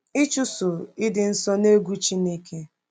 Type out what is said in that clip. Ịchụso “Ịdị Nsọ n’Egwu Chineke”